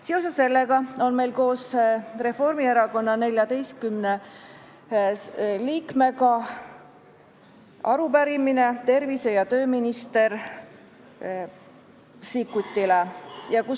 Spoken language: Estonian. Seoses sellega on meil, Reformierakonna 14 liikmel arupärimine tervise- ja tööminister Sikkutile.